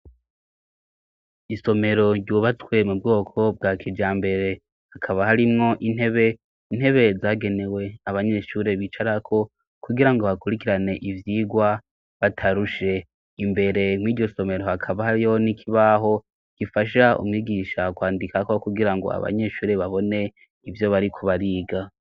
Isomero ryubatswe mu bwoko bwa kijambere. Hakaba harimwo intebe, intebe zagenewe abanyeshure bicarako kugira ngo bakurikirane ivyigwa batarushe. Imbere mw'iryo somero hakaba hariyo n'ikibaho gifasha umwigisha kwandikako kugira ngo abanyeshure babone ivyo bariko bariga.